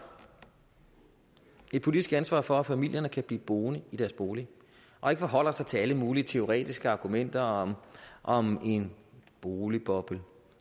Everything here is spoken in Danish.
et politisk ansvar for at familierne kan blive boende i deres bolig og ikke forholder sig til alle mulige teoretiske argumenter om om en boligboble